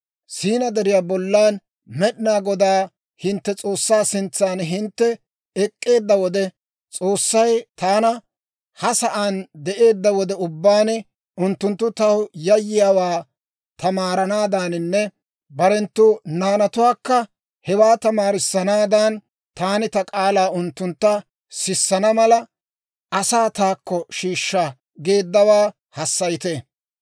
Siinaa Deriyaa bollan Med'inaa Godaa hintte S'oossaa sintsan hintte ek'k'eedda wode, S'oossay taana, ‹Ha sa'aan de'eedda wode ubbaan, unttunttu taw yayyiyaawaa tamaaranaadaaninne barenttu naanatuwaakka hewaa tamaarissanaadan, taani ta k'aalaa unttuntta sissana mala, asaa taakko shiishsha› geeddawaa hassayite.